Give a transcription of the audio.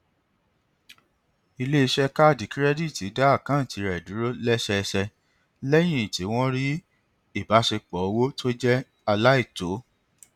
iléiṣẹ kaadi kirẹditi dá àkántì rẹ dúró lẹsẹẹsẹ lẹyìn tí wọn rí ìbáṣepọ owó tó jẹ aláìtó